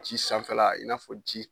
Ji sanfɛla i n'a fɔ ji.